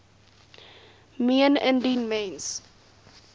meen indien mens